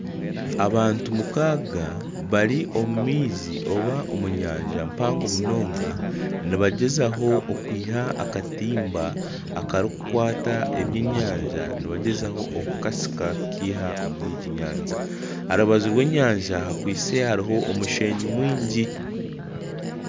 Abantu mukaaga bari omu maizi oba omu nyanja mpango munonga nibagyezaho okwiha akatimba akarikukwata ebyenyanja nibagyezaho okukasika kukiha omuri egi nyanja aha rubaju rw'enyanja kakwitse hariho omushenyi mwingi.